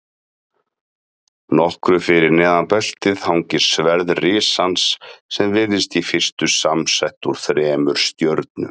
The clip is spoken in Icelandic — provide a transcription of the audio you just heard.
Nokkru fyrir neðan beltið hangir sverð risans sem virðist í fyrstu samsett úr þremur stjörnum.